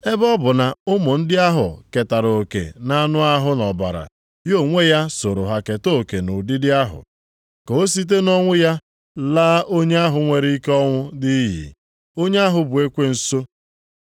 Ebe ọ bụ na ụmụ ndị ahụ ketara oke na anụ ahụ na ọbara, ya onwe ya sooro ha keta oke nʼụdịdị ahụ, ka o site nʼọnwụ ya laa onye ahụ nwere ike ọnwụ nʼiyi, onye ahụ bụ ekwensu.